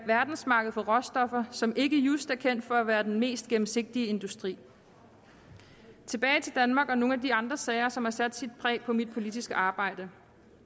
verdensmarked for råstoffer som ikke just er kendt for at være den mest gennemsigtige industri tilbage til danmark og nogle af de andre sager som har sat sit præg på mit politiske arbejde